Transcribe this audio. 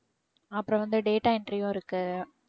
அப்புறம் வந்து data entry work கு